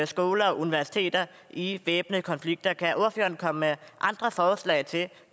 skoler og universiteter i væbnede konflikter kan ordføreren komme med andre forslag til